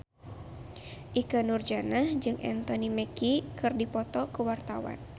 Ikke Nurjanah jeung Anthony Mackie keur dipoto ku wartawan